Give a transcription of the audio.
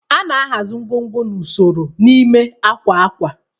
A na-ahazi ngwongwo n'usoro n'ime akwa akwa